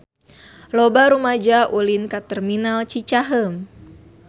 Loba rumaja ulin ka Terminal Cicaheum